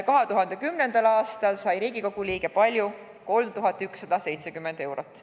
2010. aastal sai Riigikogu liige palka 3170 eurot.